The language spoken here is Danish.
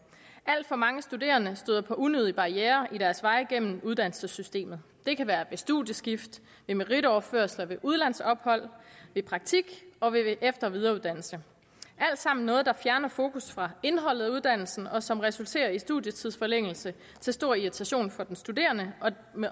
alt for mange studerende støder på unødige barrierer på deres vej gennem uddannelsessystemet det kan være ved studiestift ved meritoverførsler ved udlandsophold ved praktik og ved efter og videreuddannelse det alt sammen noget der fjerner fokus fra indholdet af uddannelsen og som resulterer i studietidsforlængelse til stor irritation for den studerende